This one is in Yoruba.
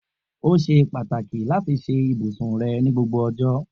O ṣe pataki lati ṣe ibusun rẹ ni gbogbo ọjọ.